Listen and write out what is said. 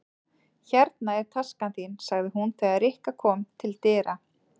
Hérna er taskan þín sagði hún þegar Rikka kom til dyra.